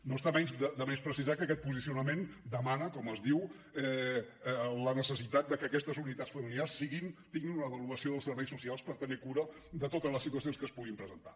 no està de més precisar que aquest posicionament demana com es diu la necessitat de que aquestes unitats familiars tinguin una avaluació dels serveis socials per tenir cura de totes les situacions que es puguin presentar